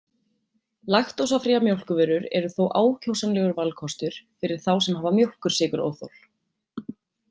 Laktósafríar mjólkurvörur eru þó ákjósanlegur valkostur fyrir þá sem hafa mjólkursykuróþol.